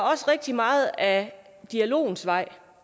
rigtig meget af dialogens vej